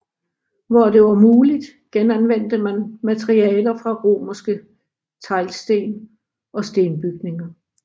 Hvor det var muligt genanvendte man materialer fra romerske teglsten og stenbygninger